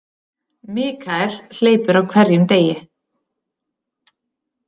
Michael hleypur á hverjum degi.